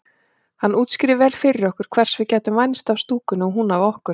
Hann útskýrði vel fyrir okkur hvers við gætum vænst af stúkunni og hún af okkur.